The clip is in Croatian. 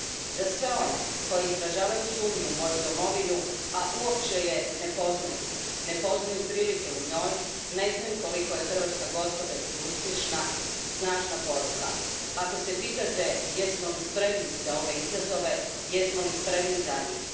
Za sve one koji izražavaju sumnju u moju domovinu, a uopće je ne poznaju, ne poznaju prilike u njoj, ne znaju koliko je Hrvatska gospodarski uspješna, snažna poruka Ako se pitate jesmo li spremni za ove izazove, jesmo li spremni za njih?